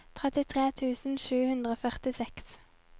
trettitre tusen sju hundre og førtiseks